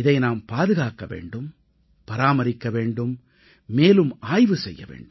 இதை நாம் பாதுகாக்க வேண்டும் பராமரிக்க வேண்டும் மேலும் ஆய்வு செய்ய வேண்டும்